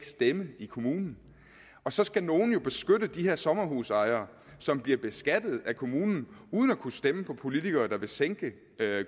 stemme i kommunen og så skal nogle jo beskytte de her sommerhusejere som bliver beskattet af kommunen uden at kunne stemme på politikere der vil sænke